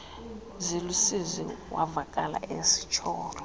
zilusizi wavakala esitsholo